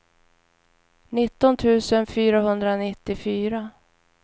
nitton tusen fyrahundranittiofyra